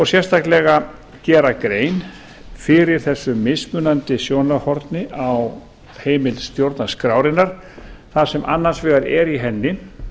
sérstaklega gera grein fyrir þessu mismunandi sjónarhorni á heimild stjórnarskrárinnar þar sem annars vegar er í henni